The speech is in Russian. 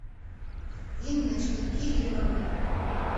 инночкой кирилловой